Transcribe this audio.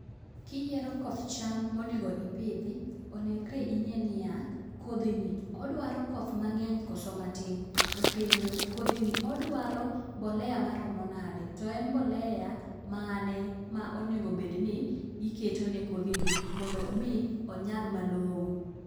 Kiyiero koth cham monego ipidhi, onegre ing'e ni yaa : kodhi ni odwaro koth mang'eny koso matin ? to kendo, kodhi odwaro mbolea maromo nade? to en mbolea mane monego bed ni keto ne kodhini mondo mi onyag malong'o?